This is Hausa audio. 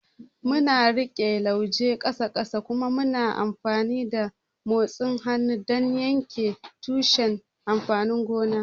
Muna riƙe lauje ƙasa ƙasa kuma muna amfani da motsa hannu don yanke tushen amfanin gona.